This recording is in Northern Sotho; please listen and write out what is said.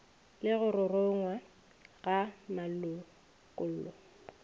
le go ruruga ga malokollo